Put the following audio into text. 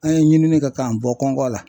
An ye ɲinini kɛ k'an bɔ kɔn kɔngɔ la .